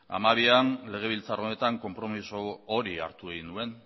hamabian legebiltzar honetan konpromezu hori hartu egin nuen